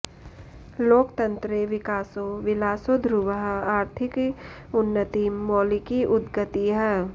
लोकतन्त्रे विकासो विलासो ध्रुवः आर्थिकी उन्नतिं मौलिकी उद्गतिः